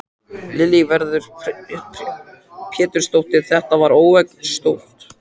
Lillý Valgerður Pétursdóttir: Þetta er óvenjustórt?